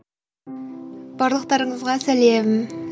барлықтарыңызға сәлем